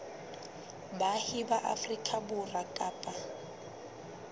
baahi ba afrika borwa kapa